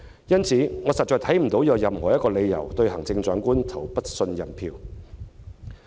因此，我實在看不到有任何理由對行政長官投不信任票。